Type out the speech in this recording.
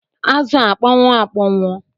Azụ a akpọnwụ akponwu?